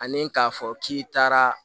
Ani k'a fɔ k'i taara